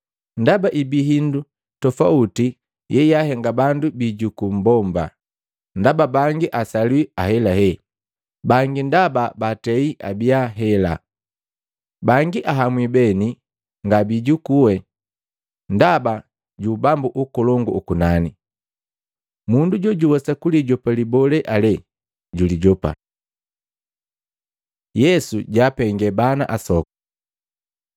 Ndaba ibi hindu toauti yeyaahenga bandu biijukuu mmbomba, ndaba bangi asaliwi ahelahe, bangi ndaba bandu baatei abia hela. Bangi ahamwi beni nga biijukue ndaba ju Ubambu ukolongu ukunani. Mundu jojuwesa kulijopa libolee ale julijopa.” Yesu jwaapenge bana asoku Maluko 10:13-16; Luka 18:15-17